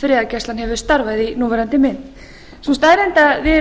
friðargæslan hefur starfað í núverandi mynd sú staðreynd að við erum